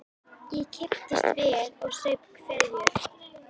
Ég kipptist við og saup hveljur.